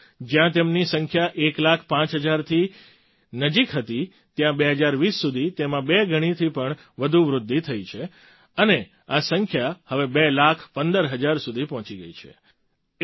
2014માં જ્યાં તેમની સંખ્યા એક લાખ પાંચ હજારની નજીક હતી ત્યાં 2020 સુધી તેમાં બે ગણીથી પણ વધુ વૃદ્ધિ થઈ છે અને આ સંખ્યા હવે બે લાખ પંદર હજાર સુધી પહોંચી ગઈ છે